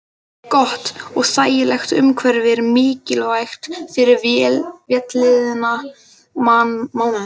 Gott og þægilegt umhverfi er mikilvægt fyrir vellíðan mannsins.